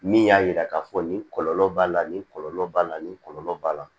Min y'a yira k'a fɔ nin kɔlɔlɔ b'a la nin kɔlɔlɔ b'a la nin kɔlɔlɔ b'a la